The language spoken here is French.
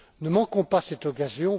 Ne manquons pas cette occasion